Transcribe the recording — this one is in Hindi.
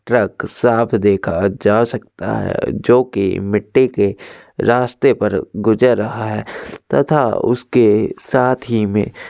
ट्रक साफ़ देखा जा सकता है जोकि मिट्टी के रास्ते पर गुजर रहा है। तथा उसके साथ ही में--